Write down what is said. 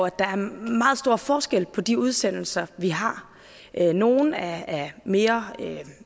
år at der er meget stor forskel på de udsendelser vi har nogle er af mere